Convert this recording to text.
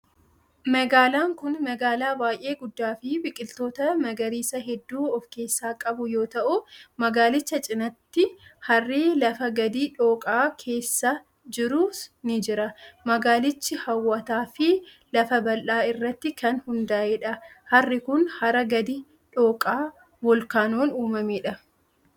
Magaalaan kun magaalaa baay'ee guddaa fi biqiloota magariisaa hedduu of keessaa qabu yoo ta'u, magaalicha cinaatti harri lafa gadi dhooqaa keessa jirus ni jira. Magaalichi haw'ataa fi lafa bal'aa irratti kan hundaa'e dha. Harri kun, hara gadi dhooqaa voolkaanoon uumamee dha.